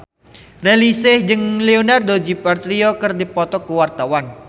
Raline Shah jeung Leonardo DiCaprio keur dipoto ku wartawan